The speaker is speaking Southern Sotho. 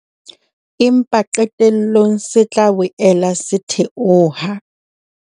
Empa qetellong se tla boela se theoha.